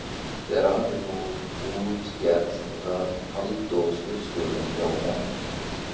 Þegar afi hóf útgerð varð Halldór skipstjóri hjá honum.